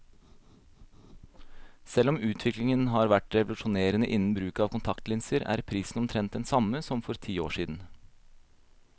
Selv om utviklingen har vært revolusjonerende innen bruken av kontaktlinser, er prisen omtrent den samme som for ti år siden.